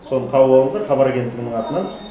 соны қабыл алыңыздар хабар агенттігінің атынан